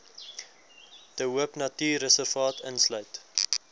de hoopnatuurreservaat insluit